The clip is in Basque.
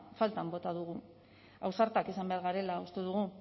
faltan bota dugu ausartak izan behar garela uste dugu